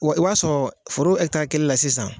Wa e b'a sɔrɔ foro ɛkitari kelen la sisan